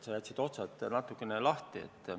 Sa jätsid otsad natukene lahti.